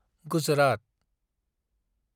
Gujarat